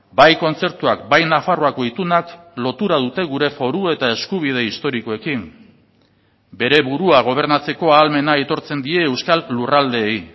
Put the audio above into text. bai kontzertuak bai nafarroako itunak lotura dute gure foru eta eskubide historikoekin bere burua gobernatzeko ahalmena aitortzen die euskal lurraldeei